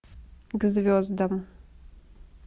к звездам